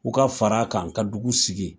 U ka fara kan ka dugu sigi.